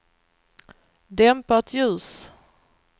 dämpat ljus